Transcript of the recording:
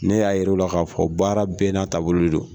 Ne y'a yɛrɛ o la k'a fɔ baara bɛɛ n'a taabolo de don